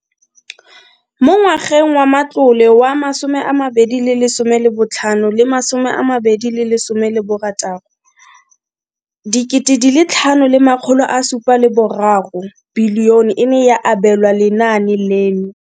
Mo ngwageng wa matlole wa 2015 le 2016, bokanaka R5 703 bilione e ne ya abelwa lenaane leno.